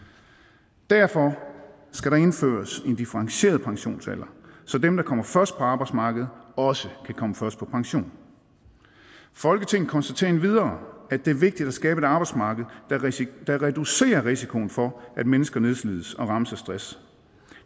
derfor skal der indføres en differentieret pensionsalder så dem der kommer først på arbejdsmarkedet også kan komme først på pension folketinget konstaterer endvidere at det er vigtigt at skabe et arbejdsmarked der reducerer risikoen for at mennesker nedslides og rammes af stress